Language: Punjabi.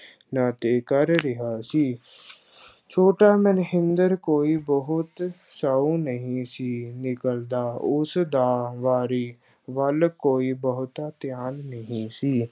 ਨਾਤੇ ਕਰ ਰਿਹਾ ਸੀ ਛੋਟਾ ਮਹਿੰਦਰ ਕੋਈ ਬਹੁਤ ਸਾਊ ਨਹੀਂ ਸੀ ਨਿਕਲਦਾ, ਉਸ ਦਾ ਵਾਰੀ ਵੱਲ ਕੋਈ ਬਹੁਤਾ ਧਿਆਨ ਨਹੀਂ ਸੀ।